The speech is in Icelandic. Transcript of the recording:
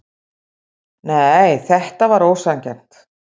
Nei, þetta var ósanngjarnt.